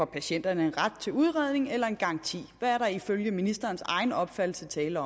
patienterne en ret til udredning eller en garanti hvad er der ifølge ministerens egen opfattelse tale